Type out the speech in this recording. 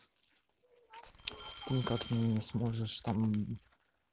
никак не сможешь там